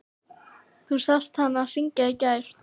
Þú sást hana syngja í gær.